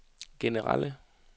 generelle